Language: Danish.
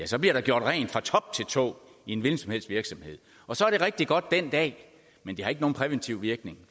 så bliver der gjort rent fra top til tå i en hvilken som helst virksomhed og så er det rigtig godt dén dag men det har ikke nogen præventiv virkning